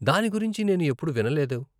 దాని గురించి నేను ఎప్పుడూ వినలేదు.